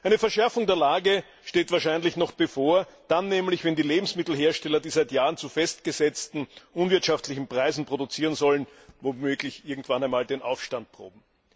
Eine Verschärfung der Lage steht wahrscheinlich noch bevor, dann nämlich, wenn die Lebensmittelhersteller, die seit Jahren zu festgesetzten, unwirtschaftlichen Preisen produzieren sollen, womöglich irgendwann einmal den Aufstand proben.